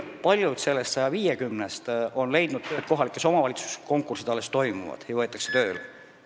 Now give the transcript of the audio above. Paljud nendest 150-st on juba leidnud tööd kohalikes omavalitsustes, ehkki mõned konkursid veel toimuvad ja inimesi võetakse tööle.